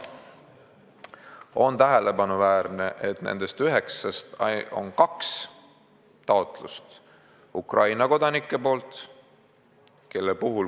On tähelepanuväärne, et nendest üheksast on kaks taotlust Ukraina kodanikelt.